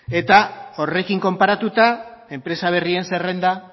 eta horrekin konparatuta enpresa berrien zerrenda